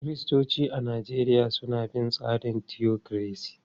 Kiristoci a Najeriya suna bin tsarin mulkin tiyokiresi.